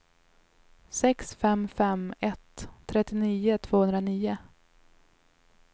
sex fem fem ett trettionio tvåhundranio